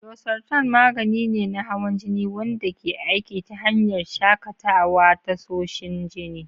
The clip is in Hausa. Losartan magani ne na hawan jini wanda ke aiki ta hanyar shakatawa tasoshin jini.